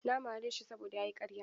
Na mare shi saboda ya yi karya.